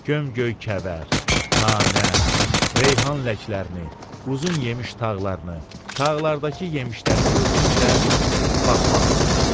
Gömgöy kəvər, nanə, reyhan ləklərini, uzun yemiş tağlarını, tağlardakı yemişləri gördükcə baxmağım gəlirdi.